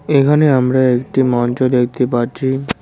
এইখানে আমরা একটি মঞ্চ দেখতে পাচ্ছি।